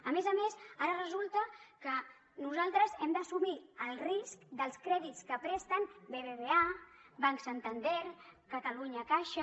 a més a més ara resulta que nosaltres hem d’assumir el risc dels crèdits que presten bbva banc santander catalunya caixa